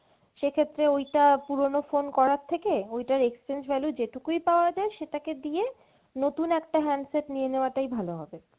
সেক্ষেত্রে ওইটা পুরনো phone করার থেকে ওইটা exchange value যেটুকুই পাওয়া যায় সেটাকে দিয়ে নতুন একটা handset নিয়ে নেওয়াটাই better হবে।